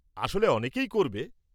আসলে অনেকেই করবে।